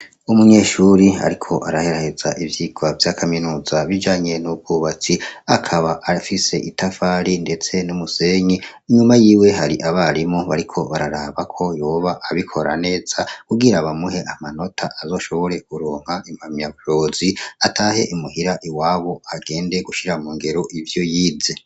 Umunyeshuri ariko araheraheza ivyirwa vy'akaminuza bijanye n'ubwubatsi akaba afise itafari, ndetse n'umusenyi inyuma yiwe hari abarimo bariko bararabako yoba abikora neza kugira bamuhe amanota azoshobore kuronka impamyabushobozi kugira atahe imuhira iwabo agende gushira mu ngero ivyo yize.